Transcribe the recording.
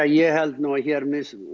ég held nú að hér